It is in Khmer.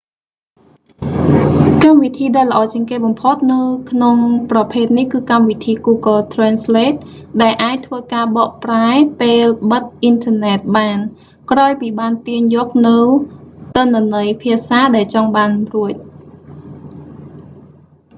កម្មវិធីដែលល្អជាងគេបំផុតនៅក្នុងប្រភេទនេះគឺ កម្មវិធី google translate ដែលអាចធ្វើការបកប្រែពេលបិទអ៊ីនធឺណិតបាន ក្រោយពីបានទាញយកនូវទិន្នន័យភាសាដែលចង់បានរួច